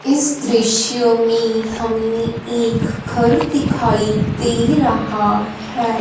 इस दृश्य में हमें एक घर दिखाई दे रहा है।